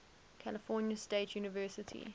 california state university